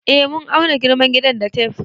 Eh mun auna girman gidan da tef